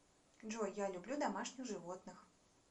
джой я люблю домашних животных